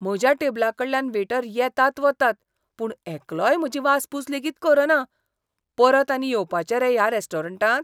म्हज्या टेबलाकडल्यान वेटर येतात वतात, पूण एकलोय म्हजी वासपूस लेगीत करना. परत आनी येवपाचें रे ह्या रॅस्टॉरंटांत?